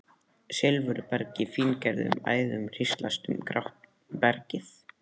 Silfurberg í fíngerðum æðum hríslast um grátt bergið.